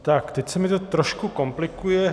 Tak teď se mi to trošku komplikuje.